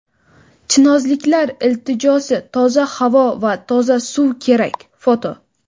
Chinozliklar iltijosi: toza havo va toza suv kerak (foto).